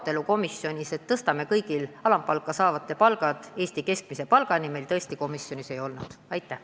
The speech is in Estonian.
Seda ettepanekut, et tõstame kõigil alampalka saavatel inimestel palgad Eesti keskmise palgani, meil komisjonis ei arutatud.